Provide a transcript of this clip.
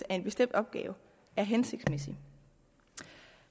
en bestemt opgave er hensigtsmæssig